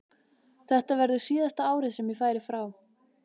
Þetta verður síðasta árið sem ég færi frá.